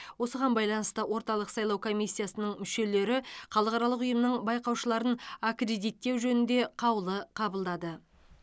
осыған байланысты орталық сайлау комиссиясының мүшелері халықаралық ұйымның байқаушыларын аккредиттеу жөнінде қаулы қабылдады